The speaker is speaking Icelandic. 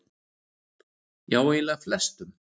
Já eiginlega flestum.